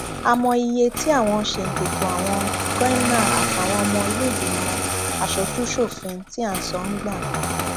a mọ iye tí àwọn ṣèǹtẹtò àwọn goimna àtàwọn ọmọ ìlèégbìmọ asojúṣòfin tí à ń sọ ń gbà